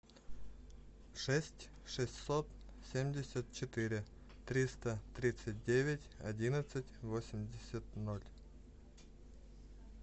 шесть шестьсот семьдесят четыре триста тридцать девять одиннадцать восемьдесят ноль